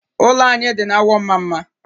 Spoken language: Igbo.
Ụlọ anyị dị na Awọ Mmamma.